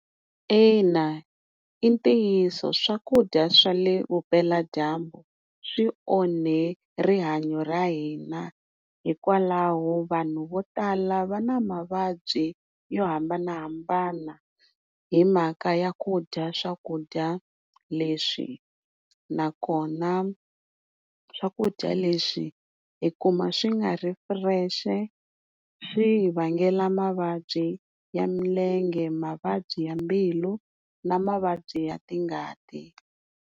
Ina, i ntiyiso swakudya swa le vupela dyambu swi onhe rihanyo ra hina hikwalaho vanhu vo tala va na mavabyi yo hambanahambana hi mhaka ya ku dya swakudya leswi na kona swakudya leswi hikuva swi nga ri fresh swi hi vangela mavabyi ya milenge, mavabyi ya mbilu na mavabyi ya ti ngati